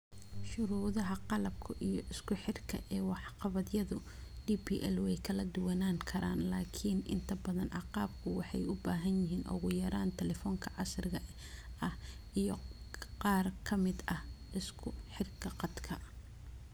Shuruudaha qalabka iyo isku xidhka ee waxqabadyada DPL way kala duwanaan karaan, laakiin inta badan agabku waxay u baahan yihiin ugu yaraan talefanka casriga ah iyo qaar ka mid ah isku xidhka khadka